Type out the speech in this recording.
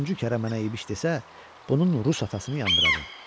Üçüncü kərə mənə İbiş desə, bunun rus atasını yandıracam.